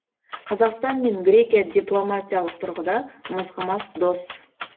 қазақстан мен грекия дипломатиялық тұрғыда мызғымас дос